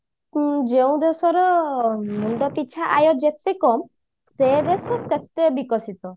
ଯେଉଁ ଦେଶର ମୁଣ୍ଡ ପିଛା ଆୟ ଯେତେ କମ ସେ ଦେଶ ସେତେ ବିକଶିତ